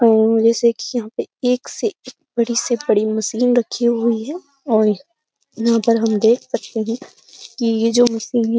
और जैसे कि यहाँ पे एक से एक बड़ी से बड़ी मशीन रखी हुई है और यहाँ पर हम देख सकते हैं कि ये जो मशीन है --